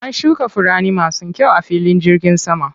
An shuka furanni masu kyau a filin jirgin saman.